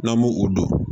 N'an m'o o don